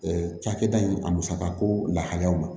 cakɛda in a musaka ko lahaliyaw